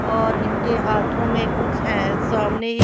और इनके हाथों में कुछ है सामने--